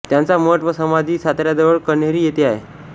त्यांचा मठ व समाधी साताऱ्याजवळ कण्हेरी येथे आहे